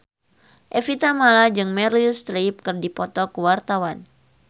Evie Tamala jeung Meryl Streep keur dipoto ku wartawan